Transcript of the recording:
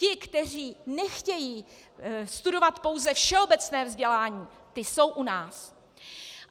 Ti, kteří nechtějí studovat pouze všeobecné vzdělání, ti jsou u nás.